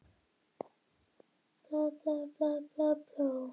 Einhver sagði lygasögur flóttalegri röddu.